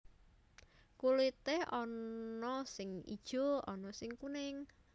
Kulité ana sing ijo ana sing kuning